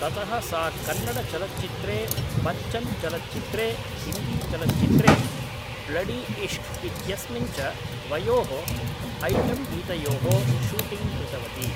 ततः सा कन्नडचलच्चित्रे बच्चन् चलच्चित्रे हिन्दीचलच्चित्रे ब्लडीइश्श्क् इत्यस्मिन् च द्वयोः ऐटम्गीतयोः शूटिंग् कृतवती